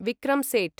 Vikram Setu